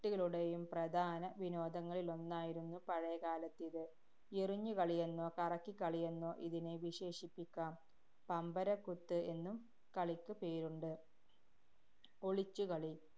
ട്ടികളുടെയും പ്രധാന വിനോദങ്ങളിലൊന്നായിരുന്നു പഴയകാലത്തിത്. എറിഞ്ഞുകളിയെന്നോ കറക്കിക്കളിയെന്നോ ഇതിനെ വിശേഷിപ്പിക്കാം. പമ്പരക്കുത്ത് എന്നും കളിക്ക് പേരുണ്ട്. ഒളിച്ചു കളി.